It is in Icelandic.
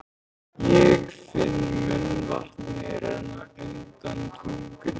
Ég finn munnvatnið renna undan tungunni.